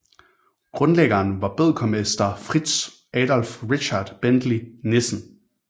Grundlæggeren var bødkermester Fritz Adolf Richard Bentley Nissen